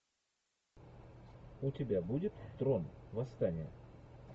у тебя будет трон восстание